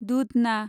Dudhna